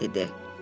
İa ia dedi.